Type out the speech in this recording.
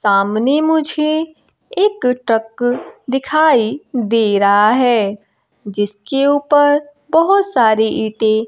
सामने मुझे एक ट्रक दिखाई दे रहा है जिसके ऊपर बहुत सारी ईंटे--